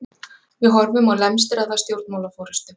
Við horfum á lemstraða stjórnmálaforystu